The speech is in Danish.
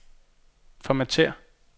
formatér